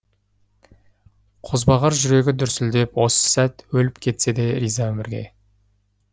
қозбағар жүрегі дүрсілдеп осы сәт өліп кетсе де риза өмірге